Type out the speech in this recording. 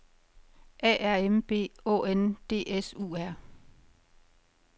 A R M B Å N D S U R